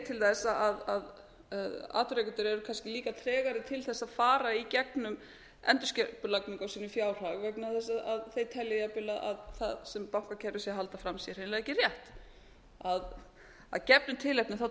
til þess að atvinnurekendur eru kannski líka tregari til þess að fara í gegnum endurskipulagningu á sínum fjárhag vegna þess að þeir telja jafnvel að bankakerfið sé að halda fram sé hreinlega ekki rétt að gefnu tilefni treysta